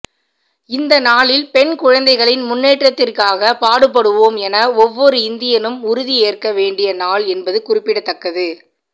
இந்த நாளில் பெண் குழந்தைகளின் முன்னேற்றத்திற்காக பாடுபடுவோம் என ஒவ்வொரு இந்தியனும் உறுதி ஏற்க வேண்டிய நாள் என்பது குறிப்பிடத்தக்கது